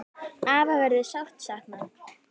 Afa verður sárt saknað.